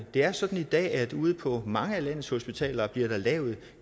er sådan i dag at der ude på mange af landets hospitaler bliver lavet